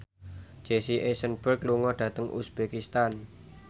Jesse Eisenberg lunga dhateng uzbekistan